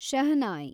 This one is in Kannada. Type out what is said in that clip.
ಶಹನಾಯ್